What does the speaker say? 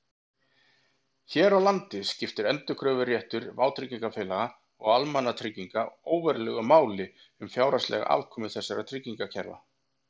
Hér á landi skiptir endurkröfuréttur vátryggingafélaga og almannatrygginga óverulegu máli um fjárhagslega afkomu þessara tryggingakerfa.